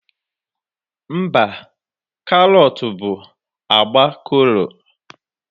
Mba, karọt bụ agba kolu